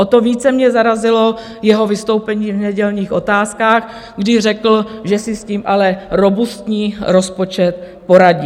O to více mě zarazilo jeho vystoupení v nedělních Otázkách, když řekl, že si s tím ale robustní rozpočet poradí.